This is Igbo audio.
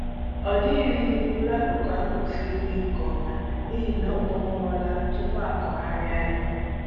Ọ dịrịghị mkpụrụ akụkụ ahụ mfe ime nke ọma n'ihi ọ kpụnwụọla tupu a kụgharịwa ya